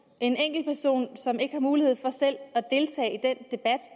en enkeltperson som ikke har mulighed for selv